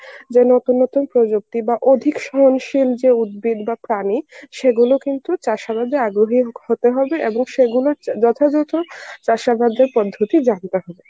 যে নতুন নতুন প্রযুক্তি বা অধিক সহনশীল যে উদ্ভিদ বা প্রাণী সেগুলো কিন্তু চাষাবাদে আগ্রহী হতে হবে এবং সেগুলোর যথাযথ চাষাবাদের পদ্ধতি জানতে হবে.